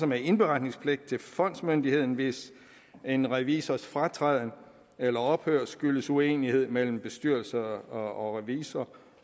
med indberetningspligten til fondsmyndigheden hvis en revisors fratræden eller ophør skyldes uenighed mellem bestyrelse og revisor